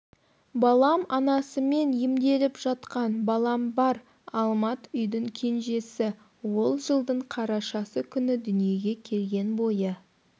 балам анасымен емделіп жатқан балам бар алмат үйдің кенжесі ол жылдың қарашасы күні дүниеге келген бойы